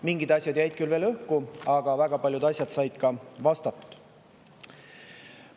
Mingid asjad jäid küll õhku, aga väga paljud asjad said ka vastatud.